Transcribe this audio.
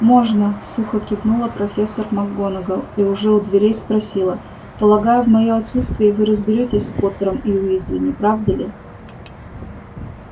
можно сухо кивнула профессор макгонагалл и уже у дверей спросила полагаю в моё отсутствие вы разберётесь с поттером и уизли не правда ли